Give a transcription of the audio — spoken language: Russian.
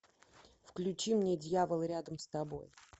включи мне дьявол рядом с тобой